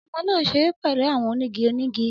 Ọmọ naa n ṣere pẹlu awọn onigi onigi